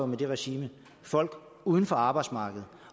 med det regime folk uden for arbejdsmarkedet